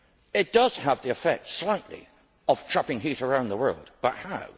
It does have the effect slightly of trapping heat around the world, but how?